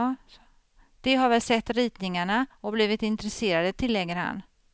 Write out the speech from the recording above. De har väl sett ritningarna och blivit intresserade, tilllägger han.